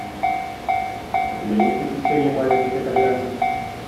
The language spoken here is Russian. у тебя есть приключения маленьких итальянцев